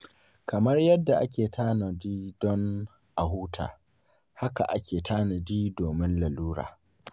Kamar yadda ake tanadi don a huta, haka ake tanadi domin larura.